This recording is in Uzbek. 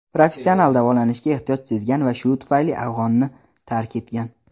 professional davolanishga ehtiyoj sezgan va shu tufayli afg‘onni tark etgan.